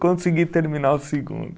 Consegui terminar o segundo.